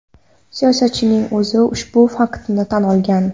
Siyosatchining o‘zi ushbu faktni tan olgan.